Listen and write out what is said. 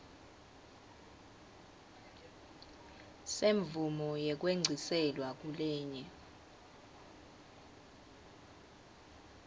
semvumo yekwengciselwa kulenye